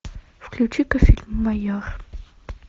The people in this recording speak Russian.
включи ка фильм майор